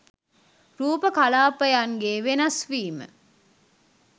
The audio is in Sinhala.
රූප කලාපයන්ගේ වෙනස් වීම